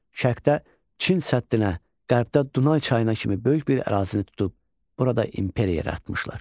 Şərqdə Çin səddinə, qərbdə Dunay çayına kimi böyük bir ərazini tutub, burada imperiya yaratmışlar.